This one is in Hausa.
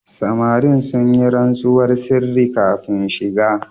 Samarin sun yi rantsuwar sirri kafin shiga.